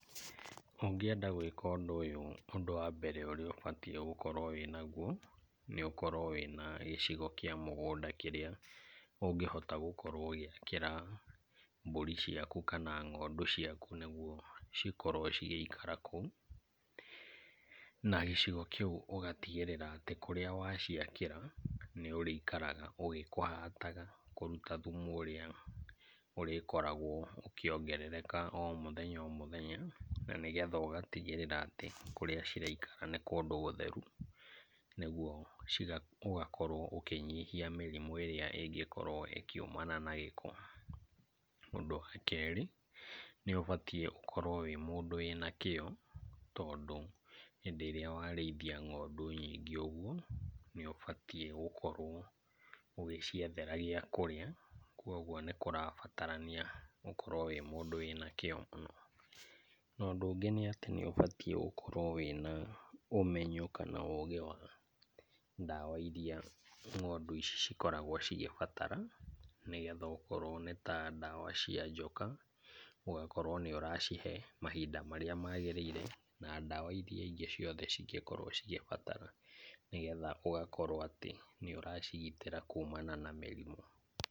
Ũngĩenda gwĩka ũndũ ũyũ ũndũ wa mbere ũrĩa ũbatii gũkorwo wĩnagũo nĩ ũkorwo wĩna gĩcigo kĩa mũgũnda kĩrĩa ũngĩhota gũkorwo ũgĩakĩra mbũri ciaku kana ng'ondu ciaku nĩguo cikorwo cigĩikara kũu. Na gĩcigo kĩu ũgatigĩrĩra atĩ kũrĩa waciakĩra nĩ ũrĩikaraga ũgĩkũhataga kũruta thumu ũrĩa ũrĩkoragwo ũkĩongererekaga o mũthenya o mũthenya. Na nĩgetha ũgatigĩrĩra atĩ kũrĩa ciraikara nĩ gũtheru, nĩguo ũgakorwo ũkĩnyihia mĩrimũ ĩrĩa ĩngĩkorwo ĩkiumana na gĩko. Ũndũ wa kerĩ nĩ ũbatiĩ gũkorwo wĩ mũndũ wĩna kĩo tondũ hĩndĩ ĩrĩa warĩithia ng'ondu nyingĩ ũguo, nĩ ũbatiĩ gũkorwo ũgĩciethera gĩa kũrĩa. Kwoguo nĩ kũrabatarania ũkorwo wĩ mũndũ wĩna kĩo mũno. Ũndũ ũngĩ nĩ atĩ nĩ ũbatiĩ gũkorwo wĩna ũmenyo kana ũũgĩ wa ndawa irĩa ng'ondu ici cikoragwo cigĩbatara, nĩgetha okorwo nĩ ndawa cia njoka ũgakorwo nĩ ũracihe mahinda marĩa maagĩrĩire na ndawa irĩa ingĩ ciothe cingĩkorwo cigĩbatara. Nĩgetha ũgakorwo atĩ nĩ ũracigitĩra kuumana na mĩrimũ.